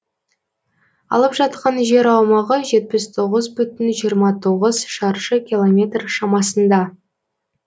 алып жатқан жер аумағы жетпіс тоғыз бүтін жиырма тоғыз шаршы километр шамасында